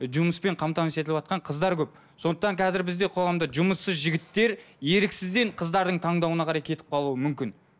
жұмыспен қамтамасыз етіліватқан қыздар көп сондықтан қазір бізде қоғамда жұмыссыз жігіттер еріксізден қыздардың таңдауына қарай кетіп қалуы мүмкін